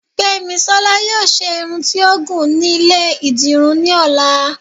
Gbemísola yóò ṣe Irún tí ó gún ní ilé- idirún ní olà